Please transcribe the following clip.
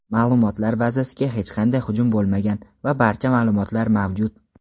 ma’lumotlar bazasiga hech qanday hujum bo‘lmagan va barcha ma’lumotlar mavjud.